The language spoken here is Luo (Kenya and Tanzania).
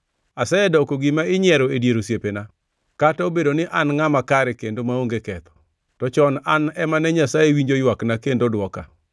“Asedoko gima inyiero e dier osiepena, kata obedo ni an ngʼama kare kendo maonge ketho; to chon an ema ne Nyasaye winjo ywakna kendo dwoka!